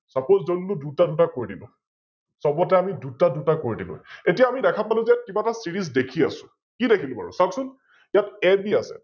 Suppose আমি দুটা দুটা কৰি দিলো, সৱতে আমি দুটা দুটা কৰি দিলো, এতিয়া আমি দেখা পালো যে কিব এটা Series দেখি আছো, কি দেখিলো বাৰু, চাওক চোন? ইয়াত AB আছে